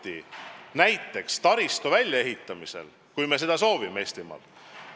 Näiteks võiks pidada debatti taristu väljaehitamise üle Eestimaal.